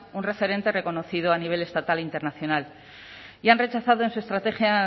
un referente reconocido a nivel estatal e internacional y han rechazado en su estrategia